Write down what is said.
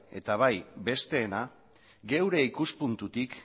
eta bai besteena geure ikuspuntutik